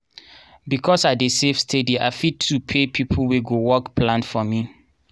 because i dey save steady i fit to pay people wey go work plant for me.